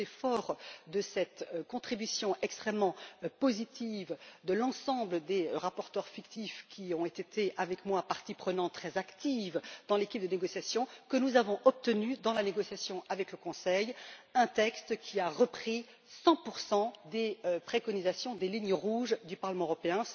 Et c'est forts de cette contribution extrêmement positive de l'ensemble des rapporteurs fictifs qui ont été avec moi parties prenantes très actives dans l'équipe de négociation que nous avons obtenu, dans la négociation avec le Conseil, un texte qui a repris 100 des préconisations et des lignes rouges du Parlement européen.